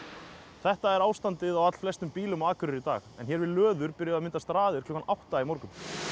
þetta er ástandið á allflestum bílum á Akureyri í dag hér við löður byrjuðu að myndast raðir klukkan átta í morgun